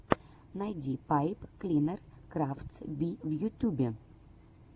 найди пайп клинер крафтс би в ютюбе